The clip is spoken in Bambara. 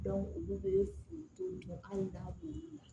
olu bɛ to anw da b'u la